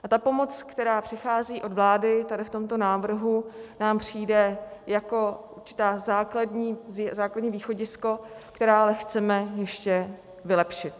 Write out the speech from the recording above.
A ta pomoc, která přichází od vlády tady v tomto návrhu, nám přijde jako určité základní východisko, které ale chceme ještě vylepšit.